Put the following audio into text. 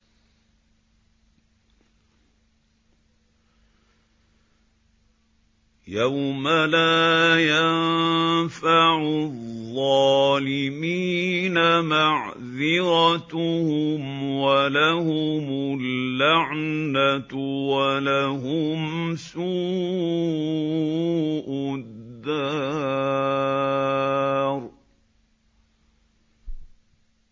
يَوْمَ لَا يَنفَعُ الظَّالِمِينَ مَعْذِرَتُهُمْ ۖ وَلَهُمُ اللَّعْنَةُ وَلَهُمْ سُوءُ الدَّارِ